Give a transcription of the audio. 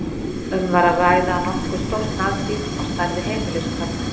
Um var að ræða nokkuð stórt nagdýr, á stærð við heimiliskött.